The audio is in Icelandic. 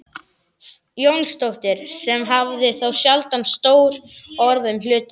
Jónsdóttir sem hafði þó sjaldan stór orð um hlutina.